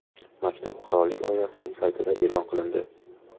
Maktub qirollik oilasining saytida e’lon qilindi .